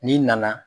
N'i nana